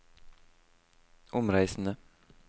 omreisende